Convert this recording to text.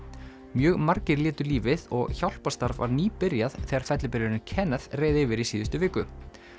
mjög margir létu lífið og hjálparstarf var nýbyrjað þegar fellibylurinn Kenneth reið yfir í síðustu viku